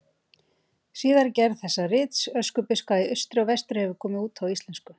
Síðari gerð þessa rits, Öskubuska í austri og vestri, hefur komið út á íslensku.